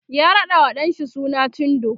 ya raɗawa ɗan shi suna cindo